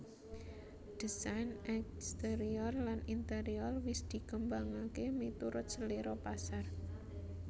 Désain exterior lan interior wis dikembangaké miturut selera pasar